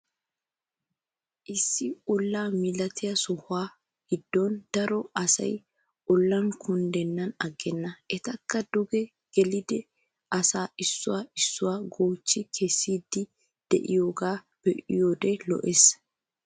Issi olla milatiyaa sohuwaa giddon daro asay ollan kunddenan agenna etakko duge gelidi asay issuwaa issuwaa goochchi kessiidi de'iyoogaa be'iyoode lo"ees.